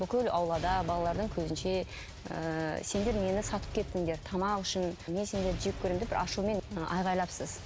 бүкіл аулада балалардың көзінше ыыы сендер мені сатып кеттіңдер тамақ үшін мен сендерді жек көремін деп бір ашумен айғайлапсыз